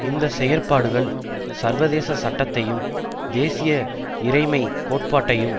இந்த செயற்பாடுகள் சர்வதேச சட்டத்தையும் தேசிய இறைமை கோட்பாட்டையும்